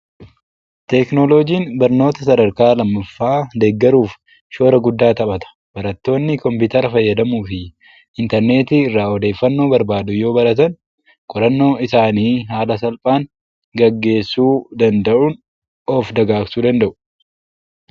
Teknooloojiin barnoota sadarkaa lammaffaa deeggaruuf shoora guddaa taphata. Barattoonni kompiitara fayyadamuu fi intarneetii irraa odeeffannoo barbaadu yoo baratan, qorannoo isaanii haala salphaan gaggeessuu danda'uun of dagaagsuu danda'u.